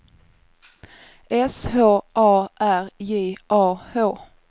S H A R J A H